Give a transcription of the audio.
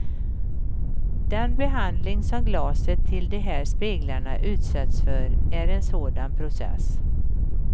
Den behandling som glaset till de här speglarna utsätts för är en sådan process.